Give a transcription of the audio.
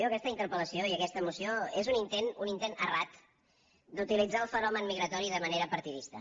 aquesta interpel·lació i aquesta moció que és un intent errat d’utilitzar el fenomen migratori de manera partidista